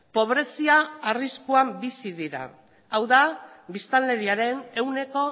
pobrezia arriskuan bizi dira hau da biztanleriaren ehuneko